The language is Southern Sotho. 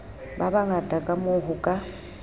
ba bangata kamoo ho ka